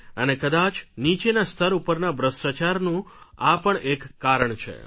અને કદાચ નીચેના સ્તર ઉપરના ભ્રષ્ટાચારનું આ પણ એક કારણ છે